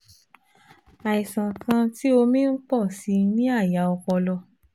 Àìsàn kan tí omi ń pọ̀ sí i ní àyà ọpọlọ